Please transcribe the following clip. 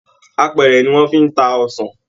Àpẹrẹ ni wọn fi n tá ọsàn.